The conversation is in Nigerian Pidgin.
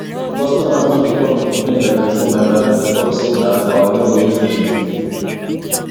customers no dey come again like before my madam dey talk say na our neigbour use juju